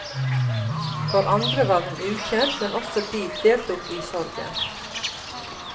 For andre var hun ukjent, men også de deltok i sorgen.